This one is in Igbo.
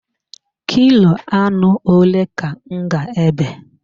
Kilo anụ ole ka m ga-ebe?